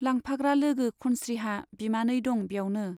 लांफाग्रा लोगो खनस्रीहा बिमानै दं ब्यावनो।